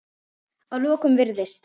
Að lokum virðist